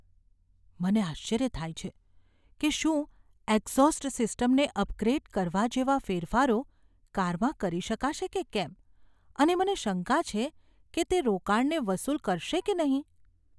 મને આશ્ચર્ય થાય છે કે શું એક્ઝોસ્ટ સિસ્ટમને અપગ્રેડ કરવા જેવા ફેરફારો કારમાં કરી શકાશે કે કેમ અને મને શંકા છે કે તે રોકાણને વસૂલ કરશે કે નહીં.